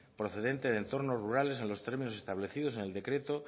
procedente de entornos rurales en los términos establecidos en el decreto